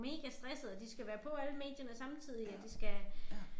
Megastressede og de skal være på alle medierne samtidig og de skal